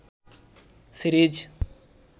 series